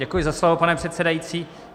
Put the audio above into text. Děkuji za slovo, pane předsedající.